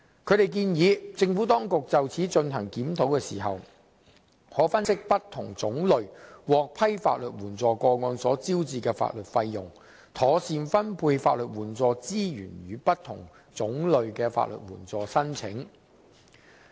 他們建議政府當局就此進行檢討時，可分析不同種類獲批法律援助個案所招致的法律費用，妥善分配法律援助資源予不同種類的法律援助申請。